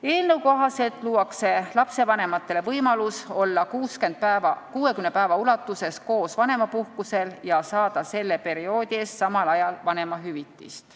Eelnõu kohaselt luuakse lastevanematele võimalus olla 60 päeva ulatuses koos vanemapuhkusel ja saada selle perioodi eest samal ajal vanemahüvitist.